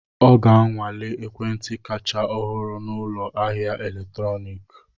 Ọ ga-anwale ekwentị kacha ọhụrụ na ụlọ ahịa eletrọnịkị.